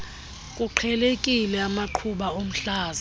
kuqhelekile amaqhuma omhlaza